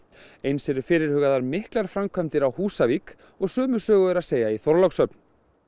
eins eru fyrirhugaðar miklar framkvæmdir á Húsavík og sömu sögu er að segja í Þorlákshöfn